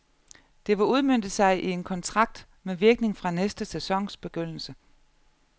Det vil udmønte sig i en kontrakt med virkning fra næste sæsons begyndelse.